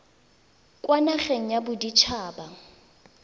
kwa nageng ya bodit haba